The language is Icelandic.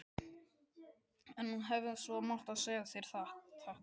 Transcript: En hún hefði svo sem mátt segja sér þetta.